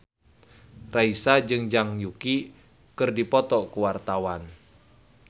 Raisa jeung Zhang Yuqi keur dipoto ku wartawan